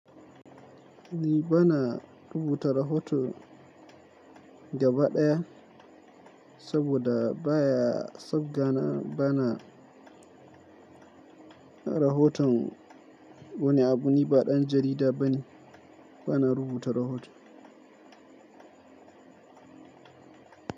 Ni bana rubuta rahoto gaba ɗaya saboda baya sau gana bana rahoton wani abu, ni ba ɗan jarida bane, bana rubuta rahoto.